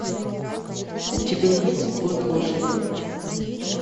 у тебя есть год лошади